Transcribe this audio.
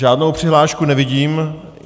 Žádnou přihlášku nevidím.